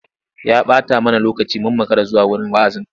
Ya ɓata mana lokaci mun makara zuwa wurin wa'azin.